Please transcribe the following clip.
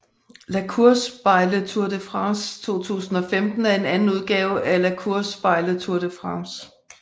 La course by Le Tour de France 2015 er anden udgave af La course by Le Tour de France